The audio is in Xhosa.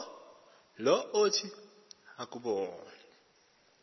lo othi akubona